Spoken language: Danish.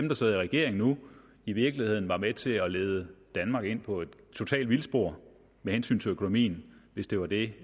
der sidder i regering nu i virkeligheden var med til at lede danmark ind på et totalt vildspor med hensyn til økonomien hvis det var det